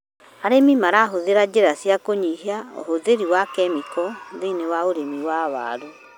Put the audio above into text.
Arĩmi marahũthĩra njĩra cia kũnyihia ũhũthĩri wa kemiko thĩiniĩ wa ũrĩmi wa waru.